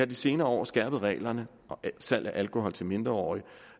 de senere år skærpet reglerne for salg af alkohol til mindreårige